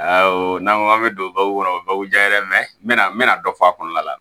Ayiwa n'an ko an bɛ don baw kɔnɔ o baw diyara n bɛna n bɛna dɔ fɔ a kɔnɔna la